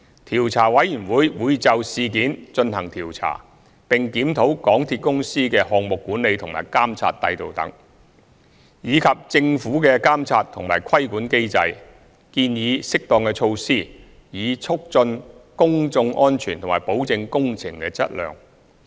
調查委員會會就事件進行調查，並檢討港鐵公司的項目管理和監督制度等，以及政府的監察和規管機制，建議適當措施，以促進公眾安全和保證工程的質量。